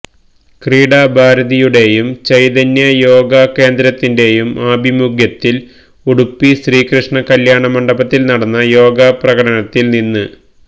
ക്രീഡാ ഭാരതിയുടെയും ചൈതന്യ യോഗാകേന്ദ്രത്തിന്റെയും ആഭിമുഖ്യത്തില് ഉടുപ്പി ശ്രീകൃഷ്ണ കല്യാണമണ്ഡപത്തില് നടന്ന യോഗാപ്രകടനത്തില് നിന്ന്